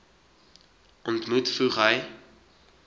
ontmoet voeg hy